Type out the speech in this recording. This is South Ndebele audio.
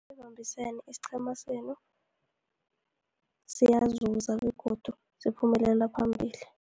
Nanibambisene isiqhema senu siyazuza, begodu siphumelela phambili.